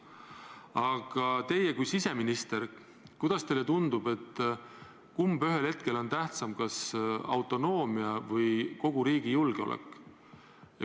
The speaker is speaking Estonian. Aga teie kui siseminister, kuidas teile tundub, kumb ühel hetkel on tähtsam, kas autonoomia või kogu riigi julgeolek?